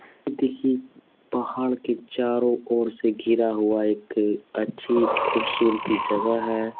देखिए पहाड़ के चारों ओर से घिरा हुआ एक अच्छी खूबसूरती जगह है।